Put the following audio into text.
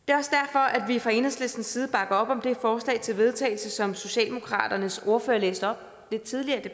det er fra enhedslistens side bakker op om det forslag til vedtagelse som socialdemokraternes ordfører læste op lidt tidligere i